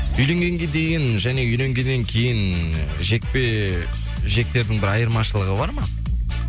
үйленгенге дейін және үйленгеннен кейін жекпе жектердің бір айырмашылығы бар ма